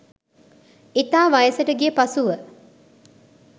ඉතා වයසට ගිය පසුව